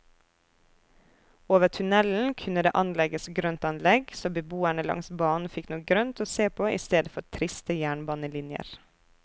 Over tunnelen kunne det anlegges grøntanlegg, så beboerne langs banen fikk noe grønt å se på i stedet for triste jernbanelinjer.